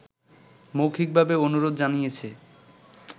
মৌখিকভাবে অনুরোধ জানিয়েছি